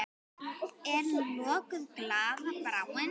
Er nú lokuð glaða bráin?